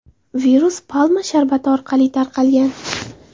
Virus palma sharbati orqali tarqalgan.